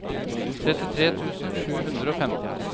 trettitre tusen sju hundre og femten